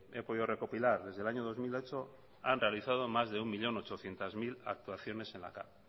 he podido recopilar desde el año dos mil ocho han realizado más de un millón ochocientos mil actuaciones en la cav